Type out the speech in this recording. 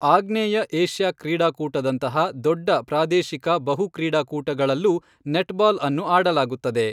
ಆಗ್ನೇಯ ಏಷ್ಯಾ ಕ್ರೀಡಾಕೂಟದಂತಹ ದೊಡ್ಡ ಪ್ರಾದೇಶಿಕ ಬಹು ಕ್ರೀಡಾ ಕೂಟಗಳಲ್ಲೂ ನೆಟ್ಬಾಲ್ಅನ್ನು ಆಡಲಾಗುತ್ತದೆ.